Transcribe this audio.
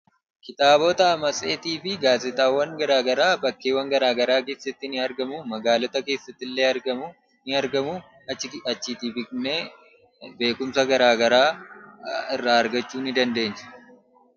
Kitaabota, matseetiiwwanii fi gaazexawwan garaa garaa bakkeewwan garaa garaatti kan argamanii dha. Akkasumas magaaloota keessatti kan argamaniif binnee beekumsaaf kan itti fayyadamnuu dha.